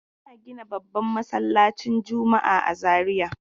Ana gina babban masallaci juma'a a Zariya.